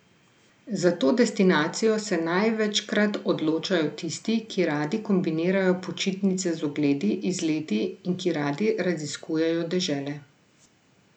Za to destinacijo se največkrat odločajo tisti, ki radi kombinirajo počitnice z ogledi, izleti in ki radi raziskujejo dežele.